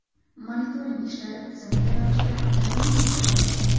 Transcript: Monitoring ishlari tizimli ravishda davom ettirilmoqda.